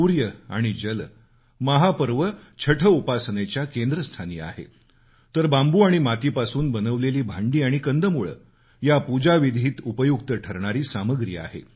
सूर्य आणि जल हे महापर्व छठ उपासनेच्या केंद्रस्थानी आहेत तर बांबू आणि मातीपासून बनवलेली भांडी आणि कंदमुळं या पूजाविधीत उपयुक्त ठरणारी सामग्री आहे